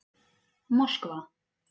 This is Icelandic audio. Moskva